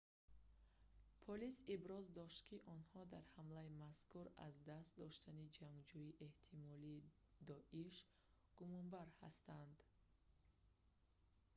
полис иброз дошт ки онҳо дар ҳамлаи мазкур аз даст доштани ҷангҷӯи эҳтимолии доиш дииш гумонбар ҳастанд